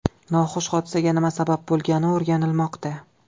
Noxush hodisaga nima sabab bo‘lgani o‘rganilmoqda.